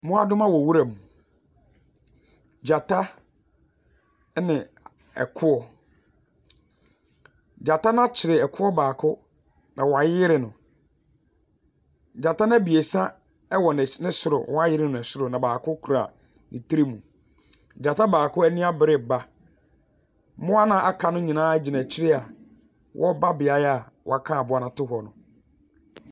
Mmoadoma wɔ nwura mu, gyata ɛna ɛkoɔ. Gyata no akye ɛkoɔ baako na wayeyere no . Gyata ebiesa ɛwɔ ne soro Wɔayeyere ne soro na baako kura ne tirim. Gyata baako ɛniabre ba, mmoa noa aka no nyinaa gyina akyire a wɔreba beaeɛ a woaka aboa no ato hɔ no.